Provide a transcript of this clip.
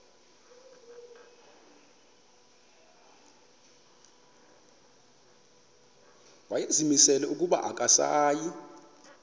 wayezimisele ukuba akasayi